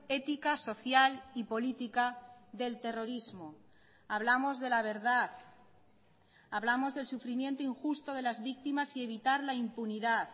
ética social y política del terrorismo hablamos de la verdad hablamos del sufrimiento injusto de las víctimas y evitar la impunidad